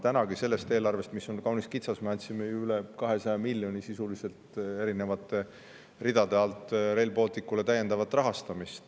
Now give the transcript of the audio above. Tänavugi andsime sellest eelarvest, mis on kaunis kitsas, ju üle 200 miljoni euro täiendavat rahastust sisuliselt erinevate ridade alt Rail Balticu jaoks.